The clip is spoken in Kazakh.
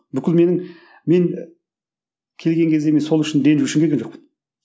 бүкіл менің мен келген кезде мен сол үшін ренжу үшін келген жоқпын